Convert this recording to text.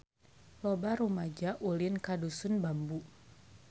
Loba rumaja ulin ka Dusun Bambu